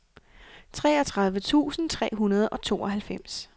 treogtredive tusind tre hundrede og tooghalvfems